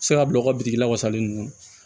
Se ka bila u ka biriki la wasalen ninnu